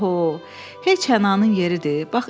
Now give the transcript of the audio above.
Paho, heç hınanın yeridir.